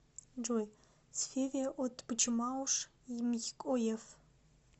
джой с феве отбчмауш ймй оеф